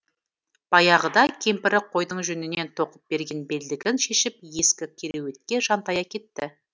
баяғыда кемпірі қойдың жүнінен тоқып берген белдігін шешіп ескі кереуетке жантая кетті